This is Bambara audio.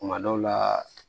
Kuma dɔw la